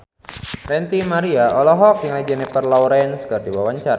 Ranty Maria olohok ningali Jennifer Lawrence keur diwawancara